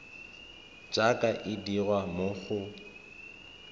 jaaka e dirwa mo go